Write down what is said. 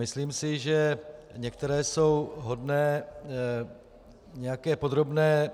Myslím si, že některé jsou hodné nějaké podrobné